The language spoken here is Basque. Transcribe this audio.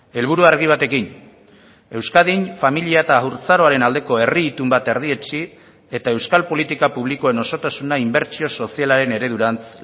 helburu argi batekin euskadin familia eta haurtzaroaren aldeko herri itun bat erdietsi eta euskal politika publikoen osotasuna inbertsio sozialaren eredurantz